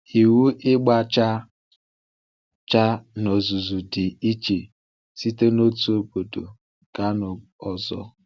Iwu ịgba chaa chaa n’ozuzu dị iche site n’otu obodo gaa n’ọzọ.